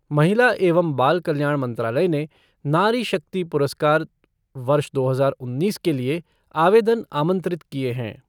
महिला एवं बाल कल्याण मंत्रालय ने नारी शक्ति पुरस्कार, वर्ष दो हजार उन्नीस के लिए आवेदन आमंत्रित किये हैं।